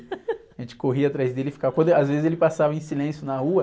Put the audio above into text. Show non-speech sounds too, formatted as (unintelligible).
(laughs) A gente corria atrás dele e ficava... (unintelligible) Às vezes ele passava em silêncio na rua.